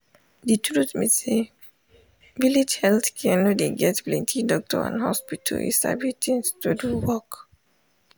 de truth be say village health center no dey get plenti doctor and hospital you sabi thing to do work.